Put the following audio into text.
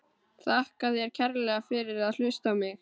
Þakka þér kærlega fyrir að hlusta á mig!